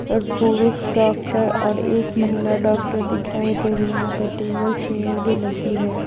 और पुरुष डॉक्टर और एक महिला डॉक्टर दिखाई दे रही यहां पे टेबल चेयर भी लगी है।